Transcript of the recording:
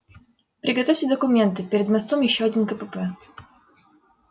приготовьте документы перед мостом ещё один кпп